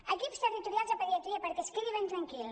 equips territorials de pediatria perquè es quedi ben tranquil